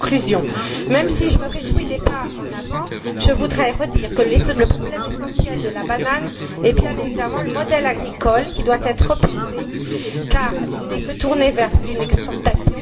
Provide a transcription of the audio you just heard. En conclusion, même si je me réjouis des avancées, je voudrais redire que le problème essentiel de la banane est évidemment le modèle agricole qui doit être repensé car il n'est tourné que vers l'exportation.